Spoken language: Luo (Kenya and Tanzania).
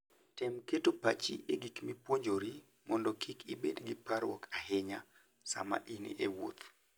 Tem keto pachi e gik mipuonjori mondo kik ibed gi parruok ahinya sama in e wuoth.